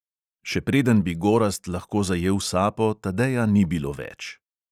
Še preden bi gorazd lahko zajel sapo, tadeja ni bilo več.